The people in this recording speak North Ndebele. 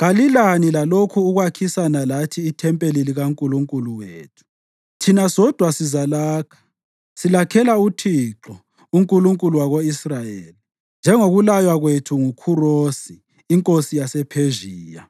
“Kalilani lakho ukwakhisana lathi ithempeli likaNkulunkulu wethu. Thina sodwa sizalakha, silakhela uThixo, uNkulunkulu wako-Israyeli, njengokulaywa kwethu nguKhurosi, inkosi yasePhezhiya.”